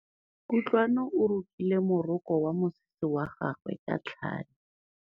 Kutlwanô o rokile morokô wa mosese wa gagwe ka tlhale.